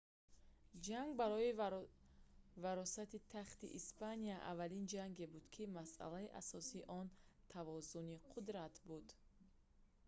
ҷанг барои варосати тахти испания аввалин ҷанге буд ки масъалаи асосии он тавозуни қудрат буд